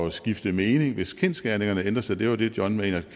at skifte mening hvis kendsgerningerne ændrer sig det var det john maynard